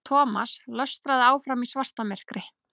Thomas lötraði áfram í svartamyrkri.